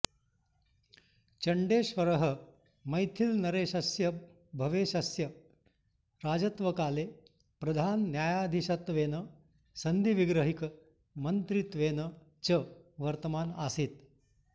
चण्डेश्वरः मैथिलनरेशस्य भवेशस्य राजत्वकाले प्रधानन्यायाधीशत्वेन सान्धिविग्रहिक मन्त्रित्वेन च वर्तमान आसीत्